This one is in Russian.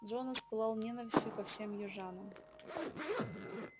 джонас пылал ненавистью ко всем южанам